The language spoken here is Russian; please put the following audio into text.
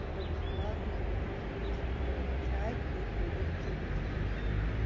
тогда бесплатно об этом сергей сказал в чате это его принцип